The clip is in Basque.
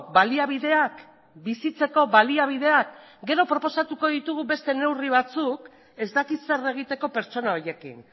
baliabideak bizitzeko baliabideak gero proposatuko ditugu beste neurri batzuk ez dakit zer egiteko pertsona horiekin